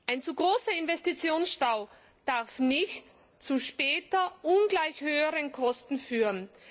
Ein zu großer Investitionsstau darf nicht zu später ungleich höheren Kosten führen.